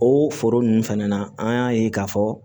O foro ninnu fɛnɛ na an y'a ye k'a fɔ